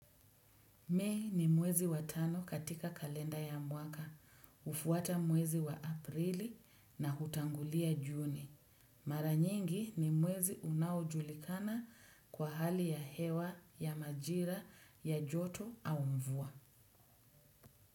May ni mwezi wa tano katika kalenda ya mwaka, hufuata mwezi wa aprili na hutangulia juni. Mara nyingi ni mwezi unaojulikana kwa hali ya hewa, ya majira ya joto au mvua.